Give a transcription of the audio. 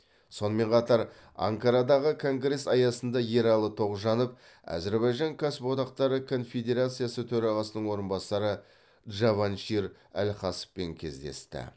сонымен қатар анкарадағы конгресс аясында ералы тоғжанов әзірбайжан кәсіподақтары конфедерациясы төрағасының орынбасары джаваншир алхасовпен кездесті